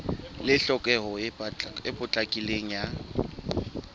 le tlhokeho e potlakileng ya